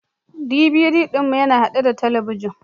DVD ɗin mu yana haɗe da talabijin